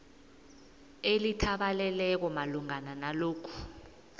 elithabaleleko malungana nalokhu